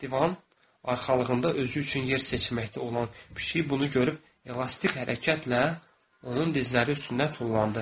Divan arxalığında özü üçün yer seçməkdə olan pişik bunu görüb elastik hərəkətlə onun dizləri üstünə tullandı.